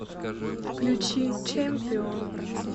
включи чемпион